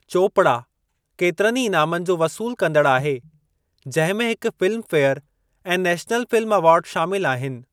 चोपड़ा केतिरनि ई ईनामनि जो वसूलु कंदड़ु आहे जंहिं में हिक फ़िल्म फे़यर ऐं नेशनल फ़िल्म अवार्ड शामिलु आहिनि।